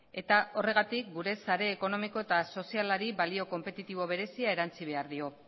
eta horregatik gure sare ekonomiko eta sozialari balio konpetitibo berezia erantsi behar dio